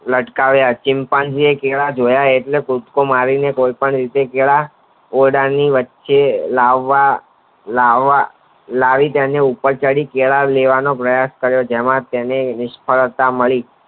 લટકાવ વા ચિમ્પાજીન કેળા જોયા એટલે કૂદકો મારી ને કોઈ પણ રીતે કેળા ઓરડાની વચ્ચે લાવવા લાવવા લાવી તેની ઉપર ચડી કેળા લેવાનો પ્રયાસ કરે કરે જેમાં તેને નિષ્ફળતા મળી